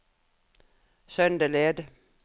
Søndeled